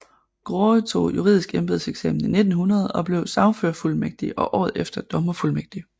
Graae tog juridisk embedseksamen i 1900 og blev sagførerfuldmægtig og året efter dommerfuldmægtig